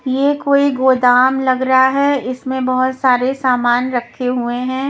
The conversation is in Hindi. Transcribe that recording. ये कोई गोदाम लग रहा है इसमें बहोत सारे सामान रखे हुए हैं।